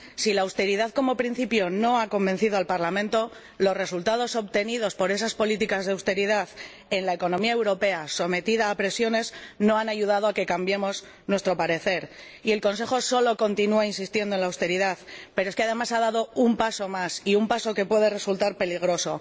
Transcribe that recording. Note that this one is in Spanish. Si la austeridad, como principio, no ha convencido al Parlamento, los resultados obtenidos por esas políticas de austeridad en la economía europea, sometida a presiones, no han ayudado a que cambiemos nuestro parecer. Y el Consejo sólo continúa insistiendo en la austeridad, pero es que además ha dado un paso más y un paso que puede resultar peligroso.